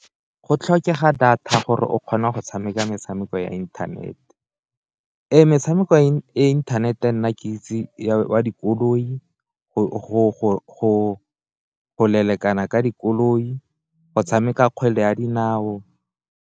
Go tlhokega data gore o kgona go tshameka metshameko ya internete, metshameko e internet-e nna ke itse wa dikoloi, go lelekana ka dikoloi, go tshameka kgwele ya dinao.